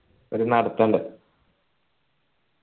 ഒരു നടത്തുണ്ട്